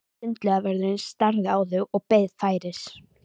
Sundlaugarvörðurinn starði á þau og beið færis.